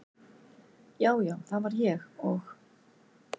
já, já það var ég og.